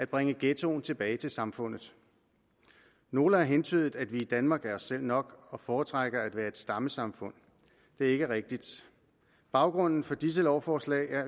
bringe ghettoen tilbage til samfundet nogle har antydet at vi i danmark er os selv nok og foretrækker at være et stammesamfund det er ikke rigtigt baggrunden for disse lovforslag er